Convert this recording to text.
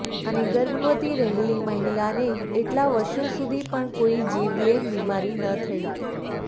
અને ગર્ભવતી રહેલી મહિલાને એટલા વર્ષો સુધી પણ કોઈ જીવલેણ બીમારી ન થઇ